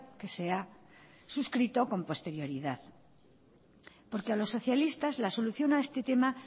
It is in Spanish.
que se ha suscrito con posterioridad porque a los socialistas la solución a este tema